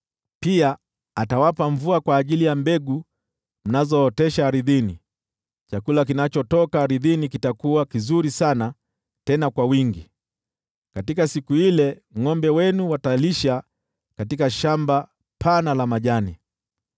Pia atawapa mvua kwa ajili ya mbegu mnazootesha ardhini, chakula kinachotoka ardhini kitakuwa kizuri sana, tena tele. Katika siku ile, ngʼombe wenu watalisha katika shamba pana la majani.